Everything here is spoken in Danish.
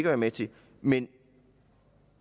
være med til men